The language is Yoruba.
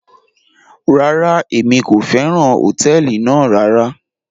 Rárá, èmi kò fẹ́ràn họ̀tẹ̀ẹlì ná rárá..